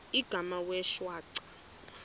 igama wee shwaca